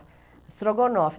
Estrogonofe.